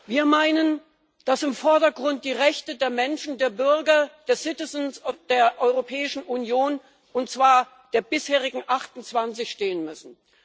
Wir meinen, dass im Vordergrund die Rechte der Menschen, der Bürger, der citizens der Europäischen Union, und zwar der bisherigen 28 stehen müssen.